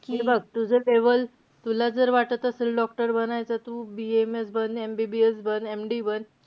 हे बघ, तू जर तूला जर वाटत असेल doctor बनायचं. तू BAMS बन, MBBS बन, MD बन.